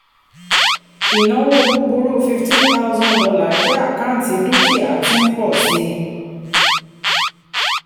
ìnáwó búburú fifteen thousand dollar jẹ́ àkáǹtí dúkìá tí ń pọ̀ sí.